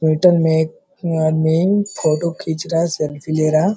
में आदमी फोटो खींच रहा है सेल्फी ले रहा है।